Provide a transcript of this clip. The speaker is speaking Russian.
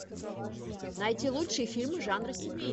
найти лучшие фильмы жанра семейный